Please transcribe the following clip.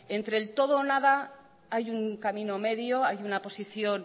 entre el todo y nada hay un camino medio hay una posición